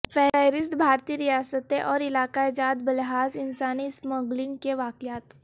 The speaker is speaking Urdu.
فہرست بھارتی ریاستیں اور علاقہ جات بلحاظ انسانی اسمگلنگ کے واقعات